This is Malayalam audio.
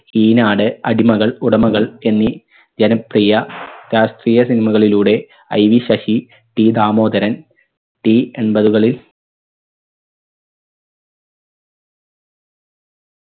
ഈനാട് അടിമകൾ ഉടമകൾ എന്നീ ജനപ്രിയ രാഷ്ട്രീയ cinema കളിലൂടെ IV Sasi T Damodaran T എൺപതുകളിൽ എൺപതുകളിൽ